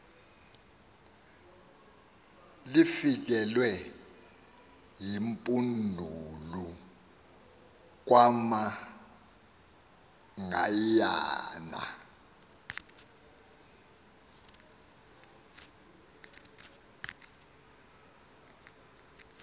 lifikelwe yimpundulu kamagayiyana